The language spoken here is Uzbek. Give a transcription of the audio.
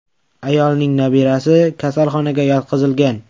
Ayolning nabirasi kasalxonaga yotqizilgan.